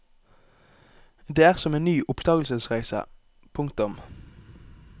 Det er som en ny oppdagelsesreise. punktum